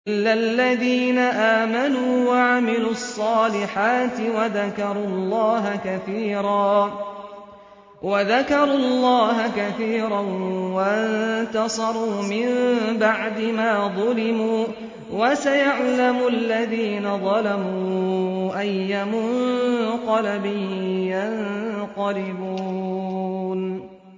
إِلَّا الَّذِينَ آمَنُوا وَعَمِلُوا الصَّالِحَاتِ وَذَكَرُوا اللَّهَ كَثِيرًا وَانتَصَرُوا مِن بَعْدِ مَا ظُلِمُوا ۗ وَسَيَعْلَمُ الَّذِينَ ظَلَمُوا أَيَّ مُنقَلَبٍ يَنقَلِبُونَ